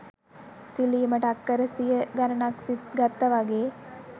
සිලිමට අක්කර සිය ගණනක් ගත්ත වගේ.